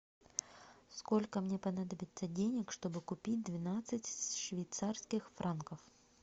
сколько мне понадобится денег чтобы купить двенадцать швейцарских франков